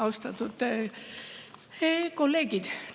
Austatud kolleegid!